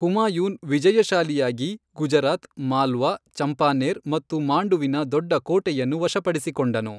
ಹುಮಾಯೂನ್ ವಿಜಯಶಾಲಿಯಾಗಿ, ಗುಜರಾತ್, ಮಾಲ್ವಾ, ಚಂಪಾನೇರ್ ಮತ್ತು ಮಾಂಡುವಿನ ದೊಡ್ಡ ಕೋಟೆಯನ್ನು ವಶಪಡಿಸಿಕೊಂಡನು.